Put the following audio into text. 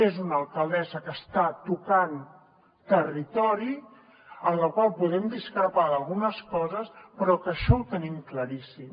és una alcaldessa que està tocant territori amb la qual podem discrepar en algunes coses però que això ho tenim claríssim